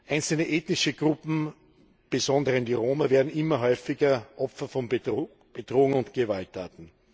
Einzelne ethnische Gruppen, insbesondere die Roma, werden immer häufiger Opfer von Bedrohung und Gewalttaten.